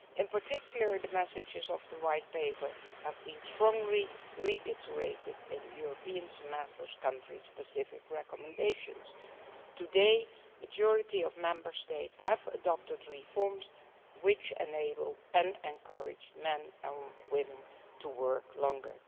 In particular the messages of the White Paper have been strongly reiterated in the European Semester's country specific recommendations. Today the majority of Member States have adopted reforms which enable and encourage men and women to work longer.